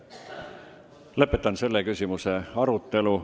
Lõpetan selle küsimuse arutelu.